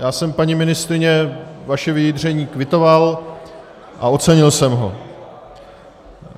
Já jsem, paní ministryně, vaše vyjádření kvitoval a ocenil jsem ho.